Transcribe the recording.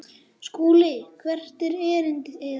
SKÚLI: Hvert var erindi yðar?